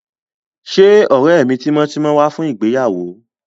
Ṣé ọ̀rẹ́ mi tímọ́tímọ́ wá fún ìgbéyàwó?